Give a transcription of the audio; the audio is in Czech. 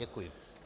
Děkuji.